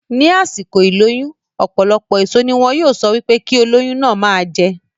Ní àsìkò ìlóyún, ọ̀pọ̀lọpọ̀ èso ní wọn yóò sọ wípé kí olóyún náà ma jẹ